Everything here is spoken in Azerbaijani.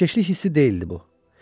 Təəssüfkeşlik hissi deyildi bu.